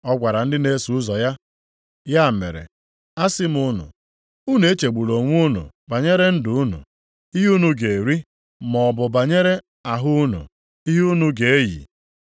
Ọ gwara ndị na-eso ụzọ ya, “Ya mere, asị m unu, unu echegbula onwe unu banyere ndụ unu, ihe unu ga-eri, maọbụ banyere ahụ unu, ihe unu ga-eyi.